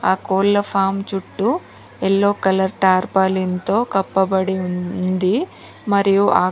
ఆ కోళ్ల ఫామ్ చుట్టూ యెల్లో కలర్ ధార్పాలి ఎంతో కప్పబడి ఉంది మరియు ఆ--